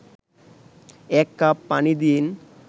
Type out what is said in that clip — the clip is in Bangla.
১ কাপ পানি দিন